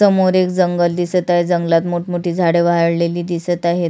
समोर एक जंगल दिसत आहे जंगलात मोठ मोठी झाडं वाळलेली दिसत आहेत.